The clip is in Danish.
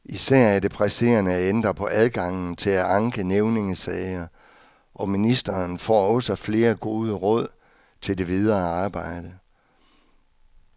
Især er det presserende at ændre på adgangen til at anke nævningesager, og ministeren får også flere gode råd til det videre arbejde.